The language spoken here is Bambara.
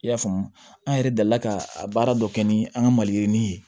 I y'a faamu an yɛrɛ la ka a baara dɔ kɛ ni an ka maliyirinin ye